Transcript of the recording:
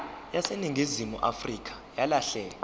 yaseningizimu afrika yalahleka